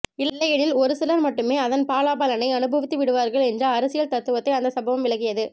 இல்லையெனில் ஒரு சிலர் மட்டுமே அதன் பலாபலனை அனுபவித்துவிடுவார்கள் என்ற அரசியல் தத்துவத்தை அந்த சம்பவம் விளக்கியது